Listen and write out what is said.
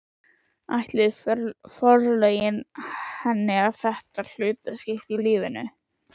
Ætluðu forlögin henni þetta hlutskipti í lífinu?